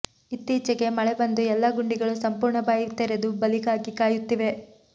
ಇತ್ತೀಚೆಗೆ ಮಳೆ ಬಂದು ಎಲ್ಲಾ ಗುಂಡಿಗಳು ಸಂಪೂರ್ಣ ಬಾಯಿ ತೆರೆದು ಬಲಿಗಾಗಿ ಕಾಯುತ್ತಿವೆ